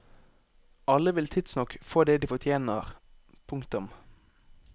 Alle vil tidsnok få det de fortjener. punktum